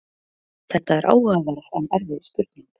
Þetta er áhugaverð en erfið spurning.